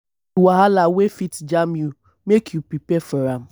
know di wahala wey fit jam you make you prepare for am